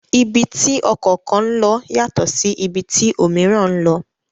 Ibi tí ọkọ̀ kan lọ yàtọ̀ sí ibi tí òmííràn ń lọ.